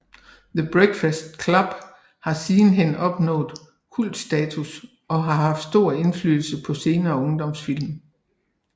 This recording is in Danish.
The Breakfast Club har sidenhen opnået kultstatus og har haft stor indflydelse på senere ungdomsfilm